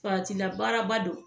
faratila baaraba don